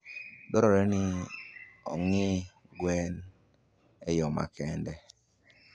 dwarore ni ong'I gwen eyo makende.